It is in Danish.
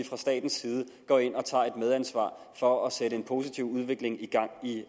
fra statens side går ind og tager et medansvar for at sætte en positiv udvikling i gang i